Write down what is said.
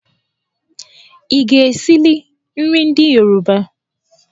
Ị ga-esili nri ndị Yoruba?